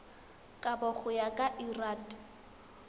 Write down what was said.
kabo go ya ka lrad